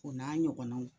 O n'a ɲɔgɔnnaw